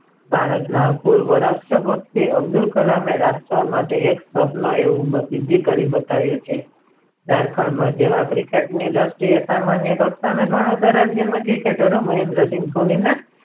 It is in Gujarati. ભારત ના પૂર્વ રાષ્ટ્ર પતિ અબ્દુલ કલામે રાષ્ટ્ર માટે એક એવું સ્વપ્ન એવું પ્રસિદ્ધ કરી બતાવ્યું છે ઝારખંડ માં જેવા cricket ની દ્રષ્ટિ એ સામાન્ય ગણાતા રાજ્ય માં cricketer મહેન્દ્રસિંહ ધોનીને